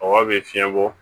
Kɔgɔ bɛ fiɲɛ bɔ